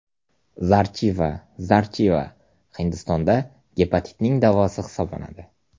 Zarchiva Zarchiva Hindistonda gepatitning davosi hisoblanadi.